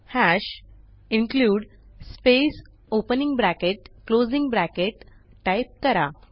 hash include space opening bracket closing bracket type करा